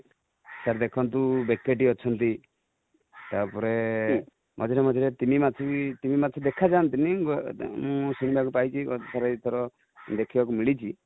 sir ଦେଖନ୍ତୁ ବେକେଟି ଅଛନ୍ତି ତା ପରେ ମଝିରେ ମଝିରେ ତିମି ମାଛ, ତିମି ମାଛ ଦେଖା ଯାନ୍ତିନି, ମୁଁ ଶୁଣିବାକୁ ପାଇ ଛି ଥରେ ଦୁଇ ଥର ଦେଖି ବାକୁ ମିଳିଛି